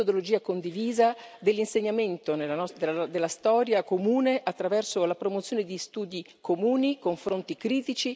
della storia comune, attraverso la promozione di studi comuni, confronti critici, anche per riunificare davvero l'Europa.